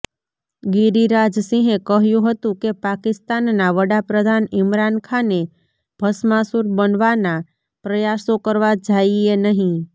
ગિરિરાજ સિંહે કહ્યુ હતુ કે પાકિસ્તાનના વડાપ્રધાન ઇમરાન ખાને ભસ્માસુર બનવાના પ્રયાસો કરવા જાઇએ નહીં